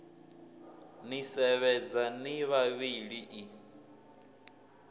ni sevhedza ni vhavhili i